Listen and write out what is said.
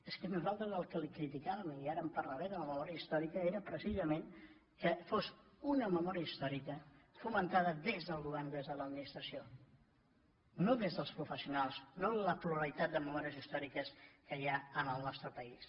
és que nosaltres el que li criticàvem i ara en parlaré de la memòria històrica era precisament que fos una memòria històrica fomentada des del govern des de l’administració no des dels professionals no la pluralitat de memòries històriques que hi ha en el nostre país